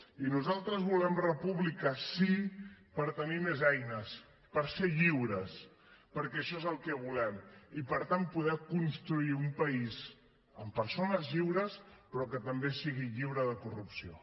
i nosaltres volem república sí per tenir més eines per ser lliures perquè això és el que volem i per tant poder construir un país amb persones lliures però que també sigui lliure de corrupció